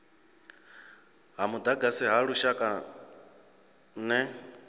ha mudagasi ha lushaka ner